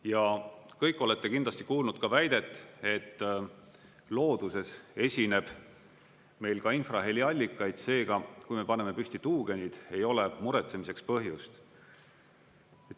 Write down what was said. Ja kõik olete kindlasti kuulnud ka väidet, et looduses esineb meil ka infraheli allikaid, seega, kui me paneme püsti tuugenid, ei ole muretsemiseks põhjust.